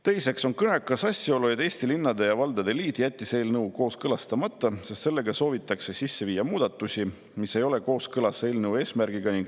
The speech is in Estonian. Teiseks on kõnekas asjaolu, et Eesti Linnade ja Valdade Liit jättis eelnõu kooskõlastamata, sest sellega soovitakse sisse viia muudatusi, mis ei ole kooskõlas eelnõu eesmärgiga.